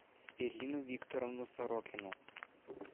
ирину викторовну сорокину